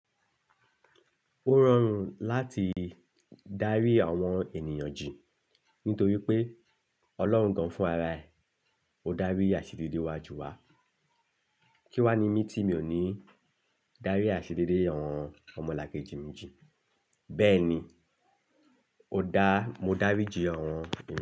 Ó rọrùn láti dárí àwọn ènìyàn jì nítorí pé Ọlọ́run gan-an fún ara ẹ̀. Ó dárí àṣìdí dé iwájú wa. Kí wá ní mí tí mi ò ní dárí àṣìdí dé àwọn ọmọlàkejì mi jì? Bẹ́ẹ̀ ni, ó dá, mo dáríji àwọn ènìyàn.